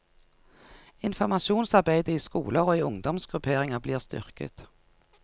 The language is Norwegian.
Informasjonsarbeidet i skoler og i ungdomsgrupperinger blir styrket.